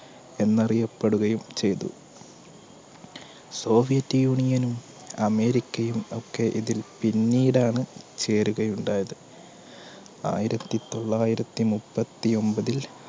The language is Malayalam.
എന്നറിയപ്പെടുകയും ചെയ്തു. സോവിയറ്റ് യൂണിയനും, അമേരിക്കയും ഒക്കെ ഇതിൽ പിന്നീടാണ് ചേരുകയുണ്ടായത്. ആയിരത്തിതൊള്ളായിരത്തി മുപ്പത്തിഒൻപതിൽ